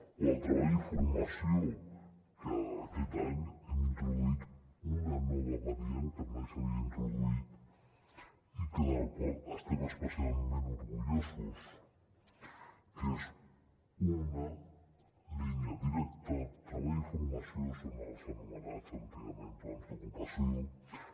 o el treball i formació que aquest any hem introduït una nova variant que mai s’havia introduït i de la qual estem especialment orgullosos que és una línia directa treball i formació són els anomenats antigament plans d’ocupació